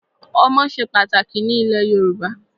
Ọmọ ṣe pàtàkì ní ilẹ̀ Yorùbá.